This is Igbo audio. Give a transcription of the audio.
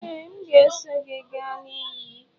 Ee, m ga-eso gị gaa na iyi.